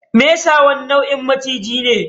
Mesa wani launin maciji ne.